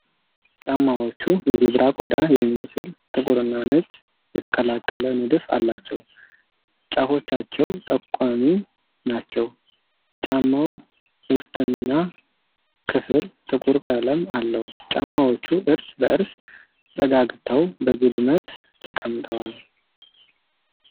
ጫማዎቹ የዘብራ ቆዳ የሚመስል ጥቁርና ነጭ የተቀላቀለ ንድፍ አላቸው። ጫፎቻቸው ጠቋሚ ናቸው። የጫማው ውስጠኛ ክፍል ጥቁር ቀለም አለው። ጫማዎቹ እርስ በእርስ ተጠጋግተው በግድመት ተቀምጠዋል።